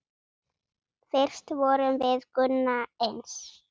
Fyrst vorum við Gunna eins.